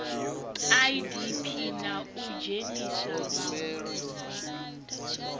idp na u dzhenisa vhavhusi